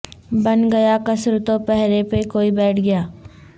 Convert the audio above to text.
بن گیا قصر تو پہرے پہ کوئی بیٹھ گیا